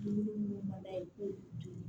Dumuni munnu mana ee